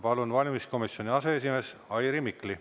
Palun, valimiskomisjoni aseesimees Airi Mikli!